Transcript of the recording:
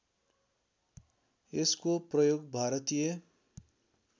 यसको प्रयोग भारतीय